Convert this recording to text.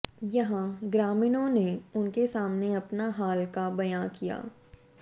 यहां ग्रामीणों ने उनके सामने अपना हाल का बयां किया